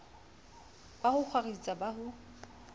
ba ho kgwaritsa ba ho